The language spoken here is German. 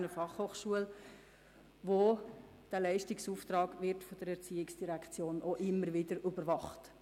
Dieser Leistungsauftrag wird von der ERZ immer wieder überwacht.